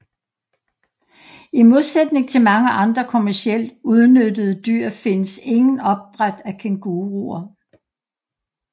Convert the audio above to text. I modsætning til mange andre kommercielt udnyttede dyr findes ingen opdræt af kænguruer